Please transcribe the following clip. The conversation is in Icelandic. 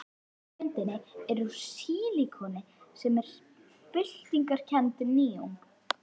Sleikjan á myndinni er úr sílikoni sem er byltingarkennd nýjung.